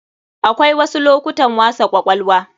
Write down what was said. Akwai wasu lokutan wasa kwakwalwa.